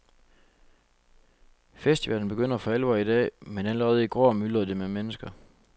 Festivalen begynder for alvor i dag, men allerede i går myldrede det med mennesker.